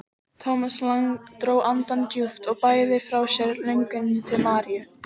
Thomas Lang dró andann djúpt og bægði frá sér lönguninni til Maríu.